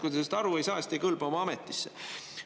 Kui te sellest aru ei saa, siis te ei kõlba oma ametisse.